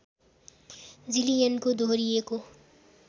जिलियनको दोहोरिएको